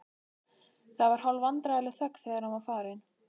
Það var hálfvandræðaleg þögn þegar hann var farinn.